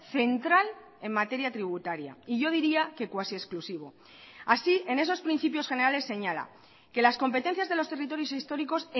central en materia tributaria y yo diría que cuasi exclusivo así en esos principios generales señala que las competencias de los territorios históricos